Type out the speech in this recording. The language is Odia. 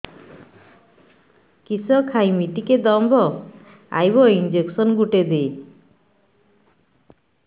କିସ ଖାଇମି ଟିକେ ଦମ୍ଭ ଆଇବ ଇଞ୍ଜେକସନ ଗୁଟେ ଦେ